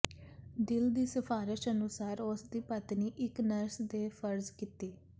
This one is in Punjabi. ਦਿਲ ਦੀ ਸਿਫਾਰਸ਼ ਅਨੁਸਾਰ ਉਸ ਦੀ ਪਤਨੀ ਇਕ ਨਰਸ ਦੇ ਫਰਜ਼ ਕੀਤੀ